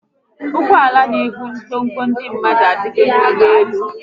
Ụgbọala n'ebu ngwongwo ndị mmadụ adigo n'ụgbọelu